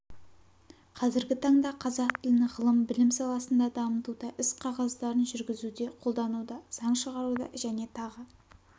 қазіргі таңда қазақ тілін ғылым білім саласында дамытуда іс қағаздарын жүргізуде қолдануда заң шығаруда және тағы